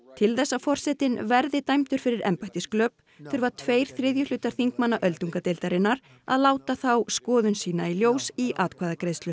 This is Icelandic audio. til þess að forsetinn verði dæmdur fyrir þurfa tveir þriðju hlutar þingmanna öldungadeildarinnar að láta þá skoðun sína í ljós í atkvæðagreiðslu